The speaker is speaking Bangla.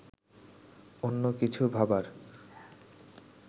অন্য কিছু ভাবার